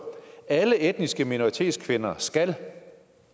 alle etniske minoritetskvinder skal